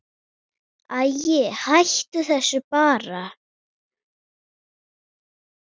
Æi, hættu þessu bara.